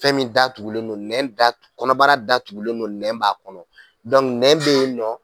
Fɛn min da tugulen non nɛn da kɔnɔbara datugulen don nɛn b'a kɔnɔ nɛn be yen nɔn